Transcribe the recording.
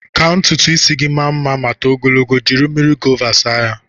Ka ntutu ịsị gị maa mma ma too ogologo, jiri mmiri gova saa ya.